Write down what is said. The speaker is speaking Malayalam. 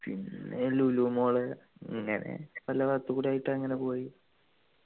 പിന്നെ ലുലു mall ഇങ്ങനെ പലഭാഗത്തും കൂടി ആയിട്ട് അങ്ങനെ പോയി